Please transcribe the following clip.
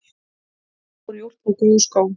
Hann fór í úlpu og góða skó.